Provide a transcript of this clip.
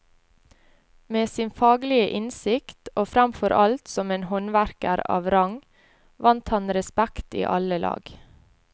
Med sin faglige innsikt, og fremfor alt som en håndverker av rang, vant han respekt i alle lag.